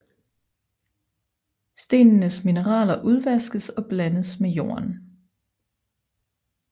Stenenes mineraler udvaskes og blandes med jorden